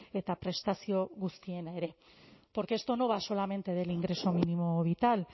eta prestazio guztiena ere porque esto no va solamente del ingreso mínimo vital